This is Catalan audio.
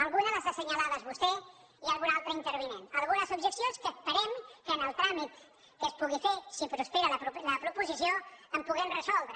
algunes les ha assenyalades vostè i algun altre intervinent algunes objeccions que esperem que en el tràmit que es pugui fer si prospera la proposició les puguem resoldre